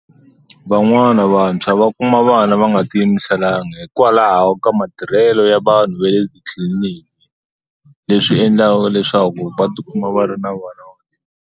Van'wana vantshwa va kuma vana va nga ti yimiselanga hikwalaho ka matirhelo ya vanhu va le titliliniki leswi endlaka leswaku va tikuma va ri na vana.